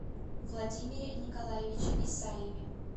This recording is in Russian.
владимире николаевиче исаеве